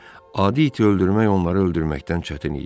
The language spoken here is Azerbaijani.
Adi iti öldürmək onları öldürməkdən çətin idi.